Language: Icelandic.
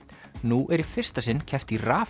nú er í fyrsta sinn keppt í